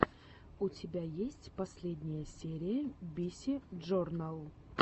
у тебя есть последняя серия биси джорнал